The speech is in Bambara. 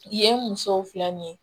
Yen ye musow filɛ nin ye